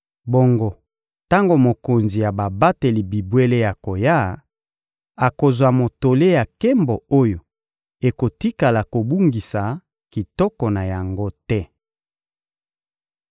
Bongo tango Mokonzi ya babateli bibwele akoya, bokozwa motole ya nkembo oyo ekotikala kobungisa kitoko na yango te.